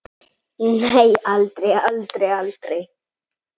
Nei, aldrei, aldrei, aldrei!